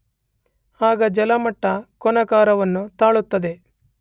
ಆಗ ಜಲಮಟ್ಟ ಕೋನಾಕಾರವನ್ನು ತಾಳುತ್ತದೆ.